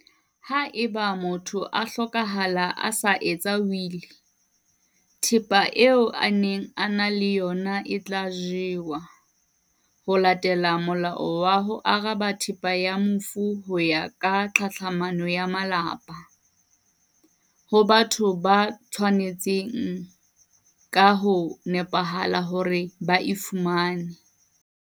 Haeba motho a hlokahala a sa etsa wili, thepa eo a neng a ena le ona e tla ajwa ho latela Molao wa ho Aba Thepa ya Mofu ho ya ka Tlhatlhamano ya Malapa, ho batho ba tshwa netseng ka ho nepahala hore ba e fumane.